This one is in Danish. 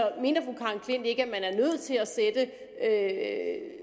ikke at